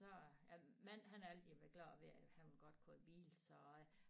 Så æ mand han har altid været glad ved han godt kunne have bil så øh